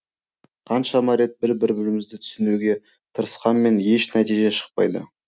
қаншама рет бір бірімізді түсінуге тырысқанмен еш нәтиже шықпайды